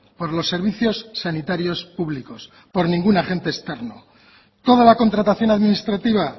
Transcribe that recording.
por los servicios sanitarios públicos por ningún agente externo toda la contratación administrativa